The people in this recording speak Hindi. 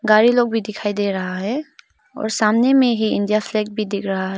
गाड़ी लोग भी दिखाई दे रहा है और सामने में ही इंडिया फ्लैग भी दिख रहा है।